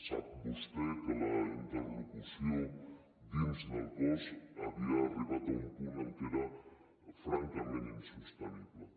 sap vostè que la interlocució dins del cos havia arribat a un punt en què era francament insostenible